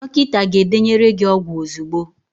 Dọkịta ga-edenyere gị ọgwụ ozugbo